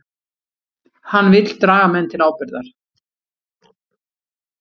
Hann vill draga menn til ábyrgðar